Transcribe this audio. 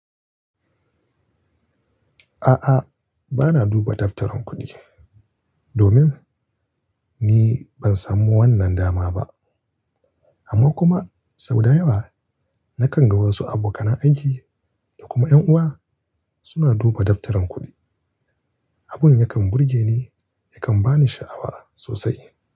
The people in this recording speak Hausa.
A'a, bana duba daftarin kuɗi domin ni ban samu wannan dama ba. Amma kuma sau da yawa na kan ga wasu abokan aiki da kuma ƴan uwa suna duba daftarin kuɗi. Abun yakan burge ni, yakan ba ni sha'awa sosai.